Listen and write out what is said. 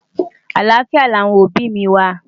àlàáfíà ní àwọn òbí mí wà